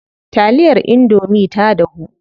Taliyar indomie ta dahu.